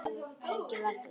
Nei það held ég varla.